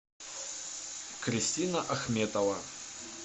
кристина ахметова